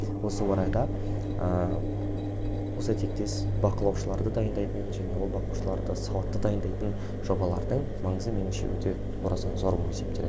осы орайда ыыы осы тектес бақылаушыларды дайындайтын және ол бақылаушыларды сауатты дайындайтын жобалардың маңызы меніңше өте орасан зор болып есептеледі